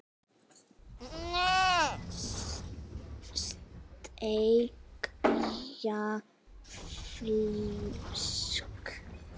Steikja fisk?